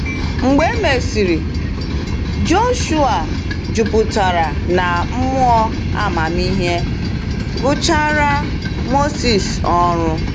Mgbe e mesịrị, Joshuwa, “juputara na mmụọ amamihe,” gụchara Mosis ọrụ.